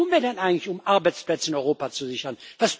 Was tun wir denn eigentlich, um Arbeitsplätze in Europa zu sichern?